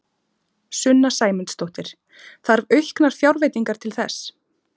Sunna Sæmundsdóttir: Þarf auknar fjárveitingar til þess?